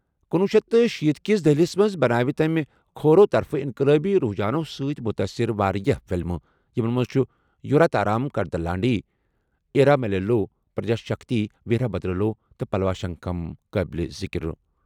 تہٕ کنوہ شیتھ تہٕ شیٖتھ کِس دہلِس منٛز، بنٲوِ تٔمہِ کھوورِ طرفہٕ انقلٲبی رُجحانَو سۭتۍ مُتٲثِر واریاہ فِلمہٕ۔ یِمَن منٛز چھِ یوواتارام کا دلانڈی، اِرامیلیلو، پرجاشکتی، ویرا بھدرلو تہٕ پلوا شنکھم شٲمِل ذکر۔